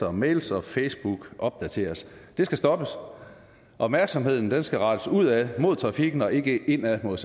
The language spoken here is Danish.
og mails og facebook opdateres det skal stoppes opmærksomheden skal rettes ud ad mod trafikken og ikke ind ad mod